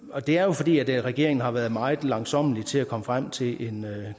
og det er jo fordi regeringen har været meget langsommelig til at komme frem til en